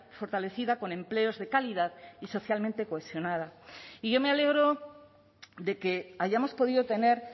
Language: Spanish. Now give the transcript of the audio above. fortalecida con empleos de calidad y socialmente cohesionada y yo me alegro de que hayamos podido tener